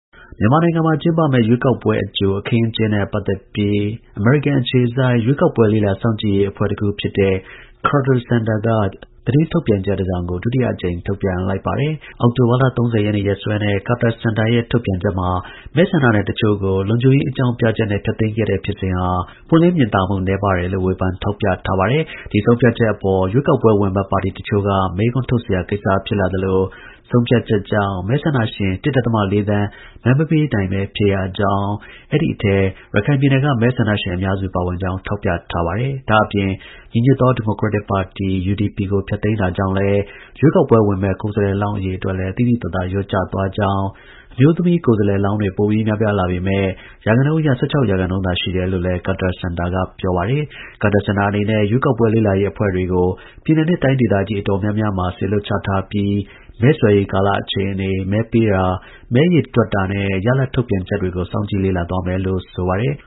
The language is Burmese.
မြန်မာနိုင်ငံမှာ ကျင်းပမယ့် ရွေးကောက်ပွဲအကြို အခင်းအကျင်းနဲ့ ပတ်သက်ပြီး အမေရိကန် အခြေစိုက် ရွေးကောက်ပွဲ လေ့လာ စောင့်ကြည့်ရေး အဖွဲ့တစ်ခုဖြစ်တဲ့ Carter Center က သတင်းထုတ်ပြန်ချက် တစ်စောင်ကို ဒုတိယအကြိမ် ထုတ်ပြန်လိုက် ပါတယ်။ အောက်တိုဘာလ ၃၀ ရက်နေ့ ရက်စွဲနဲ့ Carter Center ရဲ့ ထုတ်ပြန်ချက်မှာ မဲဆန္ဒနယ်တစ်ချို့ကို လုံခြုံရေး အကြောင်းပြချက်နဲ့ ဖျက်သိမ်းခဲ့တဲ့ ဖြစ်စဉ်ဟာ ပွင့်လင်းမြင်သာမှု နည်းပါးတယ်လို့ ဝေဖန် ထောက်ပြထားပါတယ်။ ဒီဆုံးဖြတ်ချက်အပေါ် ရွေးကောက်ပွဲ ဝင်မယ့် ပါတီတစ်ချို့က မေးခွန်းထုတ်စရာ ကိစ္စဖြစ်လာသလို ဆုံးဖြတ်ချက်ကြောင့် မဲဆန္ဒရှင် ၁.၄ သန်း မဲမပေးနိုင်ဘဲ ဖြစ်ရကြောင်း အဲဒီ အထဲ ရခိုင်ပြည်နယ်က မဲဆန္ဒရှင် အများစု ပါဝင်ကြောင်း ထောက်ပြထား ပါတယ်။ ဒါ့အပြင် ညီညွတ်သော ဒီမိုကရက်တစ် ပါတီ (UDP) ကို ဖျက်သိမ်းတာကြောင့်လည်း ရွေးကောက်ပွဲ ဝင်မယ့် ကိုယ်စားလှယ်လောင်း အရေအတွက်လည်း သိသိသာသာ လျော့ကျသွားခဲ့ကြောင်း၊ အမျိုးသမီးကိုယ်စားလှယ်လောင်းတွေ ပိုပြီးများပြားလာပေမဲ့ရာခိုင်နှုန်း အရ ၁၆ ရာခိုင်နှုန်းသာ ရှိတယ်လို့လည်း Carter Center ရဲ့ ကြေညာချက်မှာ ပါရှိပါတယ်။ Carter Center အနေနဲ့ ရွေးကောက်ပွဲ လေ့လာရေး အဖွဲ့တွေကို ပြည်နယ်နဲ့ တိုင်းဒေသကြီး အတော်များများမှာ စေလွှတ်ချထားပြီး မဲဆွယ်ရေးကာလ အခြေအနေ၊ မဲပေးတာ၊ မဲရေတွက်တာနဲ့ ရလဒ် ထုတ်ပြန်ချက်တွေကို စောင့်ကြည့်လေ့လာသွားမယ်လို့ ဆို ပါတယ်